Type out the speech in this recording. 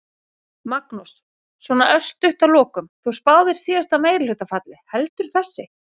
Magnús: Svona örstutt að lokum, þú spáðir síðasta meirihluta falli, heldur þessi?